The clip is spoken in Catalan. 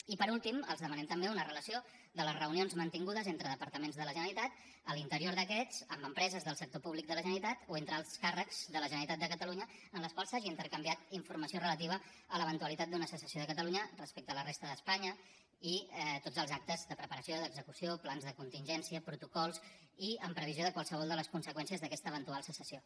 i per últim els demanem també una relació de les reunions mantingudes entre departaments de la generalitat a l’interior d’aquests amb empreses del sector públic de la generalitat o entre alts càrrecs de la generalitat de catalunya en les quals s’hagi intercanviat informació relativa a l’eventualitat d’una secessió de catalunya respecte de la resta d’espanya i tots els actes de preparació d’execució plans de contingència protocols i en previsió de qualsevol de les conseqüències d’aquesta eventual secessió